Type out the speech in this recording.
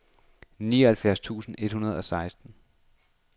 nioghalvfjerds tusind et hundrede og seksten